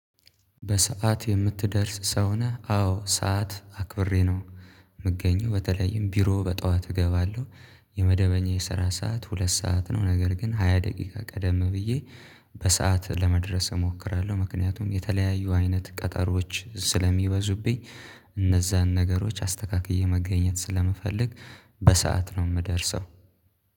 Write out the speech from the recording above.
በሰአት የምትደርስ ሰው ነህ አዎ ሰዓት አክብሬ ነው። የምገኘው በተለይም ቢሮ በጧት እገባለሁ። የመደበኛ የሰራ ሰዓት ሁለት ሰዓት ነው። ነገር ግን ሃያ ደቂቃ ቀደም ብዬ በሰአት ለመድረስ እሞክራለሁ። ምክንያቱም የተለያዩ አይነት ቀጠሮዎች ስለሚበዙብኝ። እነዛን ነገሮች አስተካክዬ መገኘት ስለምፈልግ። በሰአት ነው የምደርሰው